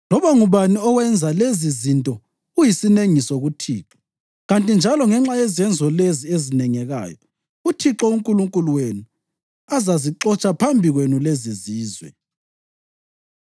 Loba ngubani owenza lezizinto uyisinengiso kuThixo, kanti njalo ngenxa yezenzo lezi ezinengekayo uThixo uNkulunkulu wenu azazixotsha phambi kwenu lezizizwe.